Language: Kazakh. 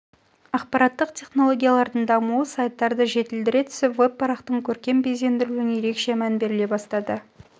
ақпараттық технологиялардың дамуы сайттарды жетілдіре түсіп веб-парақтың көркем безендірілуіне ерекше мән беріле бастады